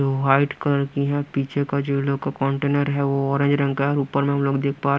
जो white colour की है पीछे का जो ये लोग का कंटेनर है वो ऑरेंज रंग का है और ऊपर हम लोग देख पा रहे हैं।